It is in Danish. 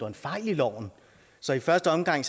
en fejl i loven så i første omgang